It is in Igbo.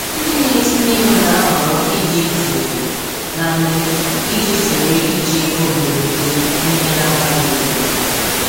Ndị na-etinye ego na-ahọrọ ịdị jụụ na mmefu iji zere iji ego mberede n’ihe na-abaghị uru.